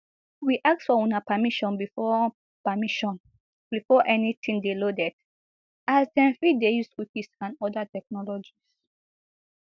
we ask for una permission before permission before anytin dey loaded as dem fit dey use cookies and oda technologies